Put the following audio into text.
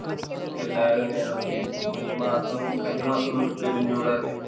എല്ലാരും അങ്ങനാണ്. ഈ മാസം കഴിഞ്ഞ മാസം തൊട്ട് പെരും ചൂടല്ലേ?